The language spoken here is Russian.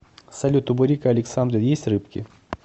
салют у бурико александры есть рыбки